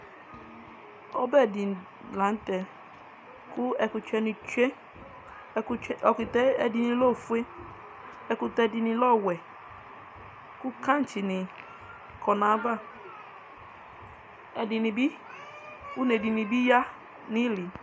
ɔɓɛɗɩ lanʊtɛ ɛƙʊtɛnɩɗʊ aƴɩlɩ ɛɗɩnɩlɛ oƒʊe ɛɗɩnɩlɛ owɛ ƙɛntsɩ nɩ ƙɔnʊ aƴaʋa ʊneɗʊ ɩhɩlɩ ƙama